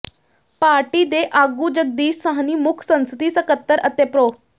party ਦੇ ਆਗੂ ਜਗਦੀਸ਼ ਸਾਹਨੀ ਮੁੱਖ ਸੰਸਦੀ ਸਕੱਤਰ ਅਤੇ ਪ੍ਰੋ